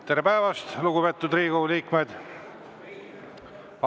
Tere päevast, lugupeetud Riigikogu liikmed!